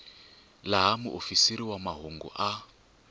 laha muofisiri wa mahungu a